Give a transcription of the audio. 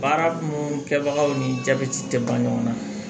Baara minnu kɛbagaw ni jabɛti tɛ ban ɲɔgɔnna